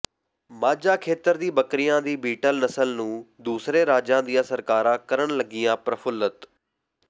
ਮਾਝਾ ਖੇਤਰ ਦੀ ਬੱਕਰੀਆਂ ਦੀ ਬੀਟਲ ਨਸਲ ਨੂੰ ਦੂਸਰੇ ਰਾਜਾਂ ਦੀਆਂ ਸਰਕਾਰਾਂ ਕਰਨ ਲੱਗੀਆਂ ਪ੍ਰਫੂਲਤ